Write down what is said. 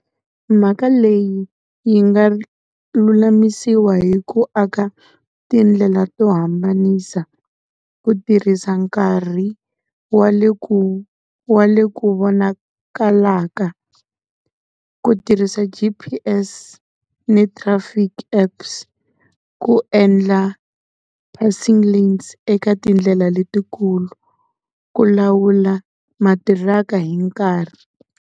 Mhaka leyi yi nga lulamisiwa hi ku aka tindlela to hambanisa, ku tirhisa nkarhi wa le ku wa le ku vonakalaka. Ku tirhisa G_P_S ni traffic apps. Ku endla passing lanes eka tindlela letikulu. Ku lawula matirhaka hi nkarhi.